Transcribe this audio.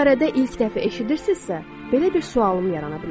Əgər bu barədə ilk dəfə eşidirsinizsə, belə bir sualım yarana bilər.